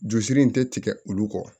Jurusiri in tɛ tigɛ olu kɔ